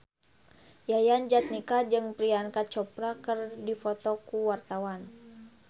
Yayan Jatnika jeung Priyanka Chopra keur dipoto ku wartawan